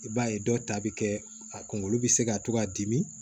I b'a ye dɔw ta bɛ kɛ a kungolo bɛ se ka to ka dimi